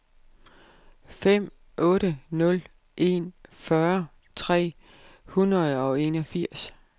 fem otte nul en fyrre tre hundrede og enogfirs